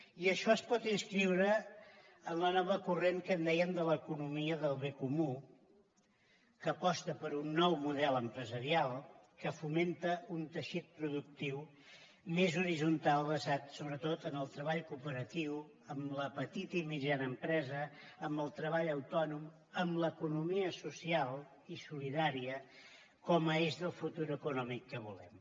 i això es pot inscriure en el nou corrent que en dèiem de l’ economia del bé comú que aposta per un nou model empresarial que fomenta un teixit productiu més horitzontal basat sobretot en el treball cooperatiu en la petita i mitjana empresa en el treball autònom en l’economia social i solidària com a eix del futur econòmic que volem